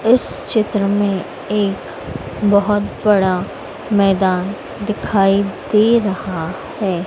इस चित्र में एक बहोत बड़ा मैदान दिखाई दे रहा हैं।